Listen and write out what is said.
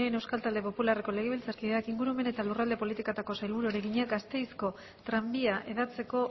de munain euskal talde popularreko legebiltzarkideak ingurumen eta lurralde politikako sailburuari egina gasteizko tranbia hedatzeko